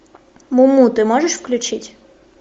муму ты можешь включить